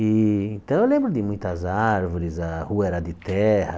E então eu lembro de muitas árvores, a rua era de terra,